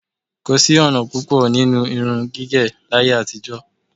Kò sí ọ̀nà púpọ̀ nínú irun gígẹ̀ láyé-àtijọ.